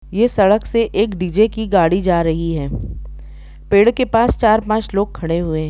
ये सड़क से एक डी.जे की गाड़ी जा रही है पेड़ के पास चार पांच लोग खड़े हुए--